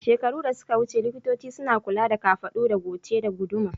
Shekaru da suka wuce, likitoci suna kula da kafaɗu da goce da guduma